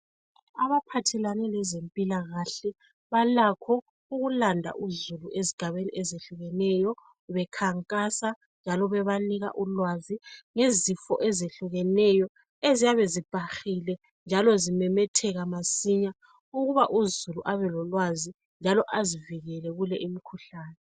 Abaphathelane lezempilakhale balakho ukulanda uzulu ezigabeni ezehlukeneyo bekhankasa njalo bebanika ulwazi ngezifo ezehlukeneyo eziyabe zibhahile njalo zimemetheka masinya ukuba uzulu abelolwazi njalo azivikele kule imkhuhlane.